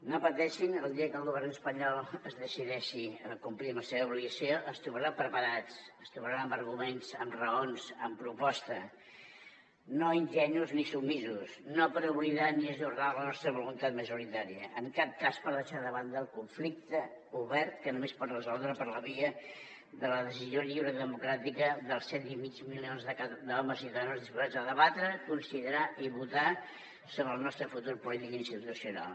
no pateixin el dia que el govern espanyol es decideixi a complir amb la seva obligació ens trobaran preparats ens trobaran amb arguments amb raons amb pro·posta no ingenus ni submisos no per oblidar ni ajornar la nostra voluntat majorità·ria en cap cas per deixar de banda el conflicte obert que només es pot resoldre per la via de la decisió lliure i democràtica dels set coma cinc milions d’homes i dones disposats a debatre considerar i votar sobre el nostre futur polític i institucional